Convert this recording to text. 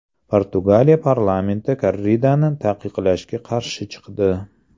Portugaliya parlamenti korridani taqiqlashga qarshi chiqdi.